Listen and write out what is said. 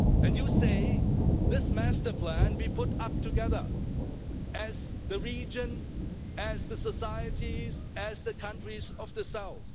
You can say this master plan will be put up together, as the region, as the societies, as the countries of the south.